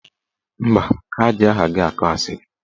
Mba, ha ji aha gị akọ asịrị.